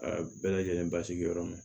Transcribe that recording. A bɛɛ lajɛlen basigiyɔrɔ ma